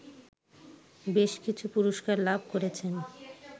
বেশকিছু পুরস্কার লাভ করেছেন